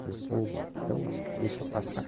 Falei, pô, então deixa passar.